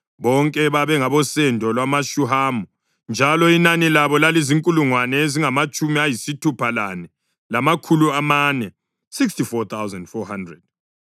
Bonke babengabosendo lwamaShuhamu; njalo inani labo lalizinkulungwane ezingamatshumi ayisithupha lane, lamakhulu amane (64,400).